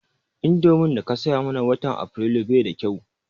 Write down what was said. Indomin daka saya mana watan Afrilu bai da kau